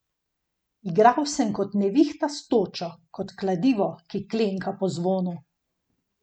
Igral sem kot nevihta s točo, kot kladivo, ki klenka po zvonu.